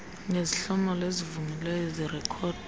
nezihlomelo ezivunyiweyo zirekhodwa